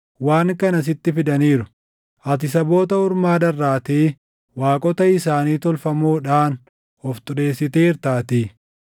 waan kana sitti fidaniiru; ati saboota ormaa dharraatee waaqota isaanii tolfamoodhaan of xureessiteertaatii.